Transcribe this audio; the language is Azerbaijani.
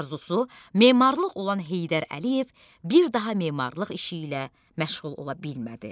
Arzusu memarlıq olan Heydər Əliyev bir daha memarlıq işi ilə məşğul ola bilmədi.